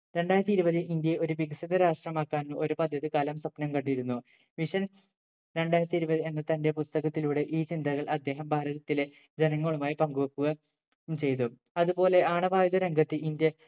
രണ്ടായിരത്തി ഇരുപത് ഇന്ത്യയെ ഒരു വികസിത രാഷ്ട്രമാക്കാൻ ഒരു പദ്ധതി കാലം സ്വപ്നം കണ്ടിരുന്നു Mission രണ്ടായിരത്തി ഇരുപത് എന്ന തന്റെ പുസ്തകത്തിലൂടെ ഈ ചിന്തകൾ അദ്ദേഹം ഭാരതത്തിലെ ജനങ്ങളുമായി പങ്കുവെക്കുക ഉം ചെയ്തു അതുപോലെ ആണവായുധ രംഗത്ത് ഇന്ത്യ